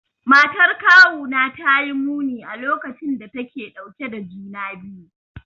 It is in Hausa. Matar kawuna ta yi muni a lokacin da take dauke da juna biyu.